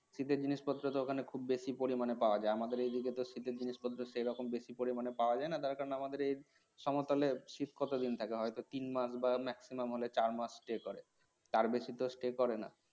শীতের জিনিসপত্র তো ওখানে খুব বেশি পরিমাণে পাওয়া যায় আমাদের এইদিকে তো শীতের জিনিসপত্র সেরকম বেশি পরিমাণে পাওয়া যায় না তার কারণ আমাদের সমতলে শীত কতদিন থাকে হয়তো তিন মাস বা maximum হলে চার মাস stay তার বেশি তো stay করে না